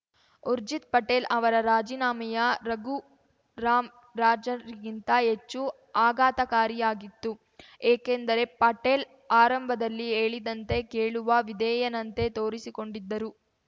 ಊರ್ಜಿತ್‌ ಪಟೇಲ್‌ ಅವರ ರಾಜೀನಾಮೆಯ ರಘುರಾಮ್‌ ರಾಜರ್ ಗಿಂತ ಹೆಚ್ಚು ಆಘಾತಕಾರಿಯಾಗಿತ್ತು ಏಕೆಂದರೆ ಪಟೇಲ್‌ ಆರಂಭದಲ್ಲಿ ಹೇಳಿದಂತೆ ಕೇಳುವ ವಿಧೇಯನಂತೆ ತೋರಿಸಿಕೊಂಡಿದ್ದರು